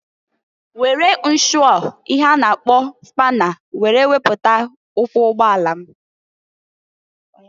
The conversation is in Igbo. Were nshụọ ihe a na-akpọ spana were wepụta ụkwụ ụgbọ ala m.